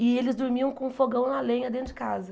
E eles dormiam com fogão na lenha dentro de casa.